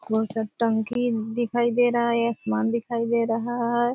कौन सा टंकी दिखाई दे रहा है आसमान दिखाई दे रहा है।